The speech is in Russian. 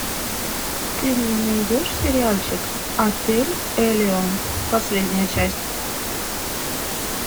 ты мне найдешь сериальчик отель элеон последняя часть